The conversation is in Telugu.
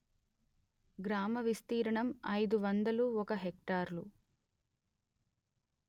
గ్రామ విస్తీర్ణం అయిదు వందలు ఒక హెక్టారులు